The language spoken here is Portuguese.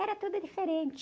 Era tudo diferente.